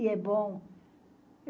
E é bom.